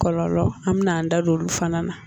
Kɔlɔlɔ an bɛna an da don olu fana na